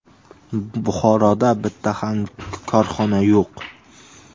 Buxoroda bitta ham korxona yo‘q.